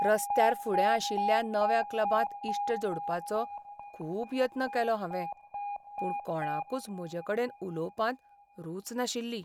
रस्त्यार फुडें आशिल्ल्या नव्या क्लबांत इश्ट जोडपाचो खूब यत्न केलो हांवें, पूण कोणाकूच म्हजेकडेन उलोवपांत रूच नाशिल्ली.